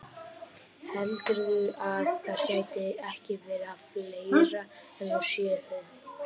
Heldurðu að það geti ekki verið að fleiri en þú séu það?